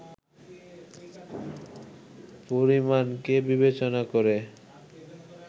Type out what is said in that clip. পরিমাণকে বিবেচনা করে